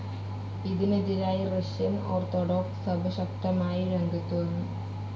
ഇതിനെതിരായി റഷ്യൻ ഓർത്തഡോക്സ്‌ സഭ ശക്തമായി രംഗത്തു വന്നു.